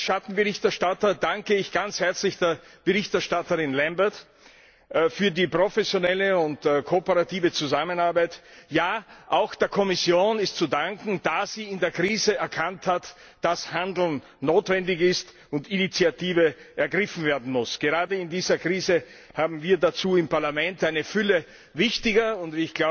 Als Schattenberichterstatter danke ich ganz herzlich der Berichterstatterin Lambert für die professionelle Zusammenarbeit. Auch der Kommission ist zu danken, da sie in der Krise erkannt hat, dass Handeln notwendig ist und Initiative ergriffen werden muss. Gerade in dieser Krise haben wir dazu im Parlament eine Fülle wichtiger und